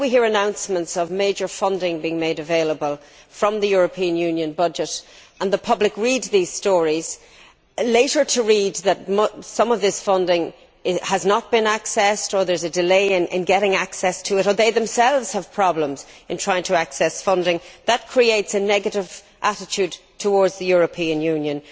When we hear announcements of major funding being made available from the European Union budget and the public read these stories, later to read that some of this funding has not been accessed, there is a delay in getting access to it, or they themselves have problems in trying to access funding, that creates a negative attitude towards the European Union.